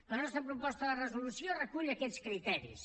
la nostra proposta de resolució recull aquests criteris